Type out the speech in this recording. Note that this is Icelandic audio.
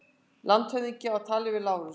Landshöfðingi á tali við Lárus.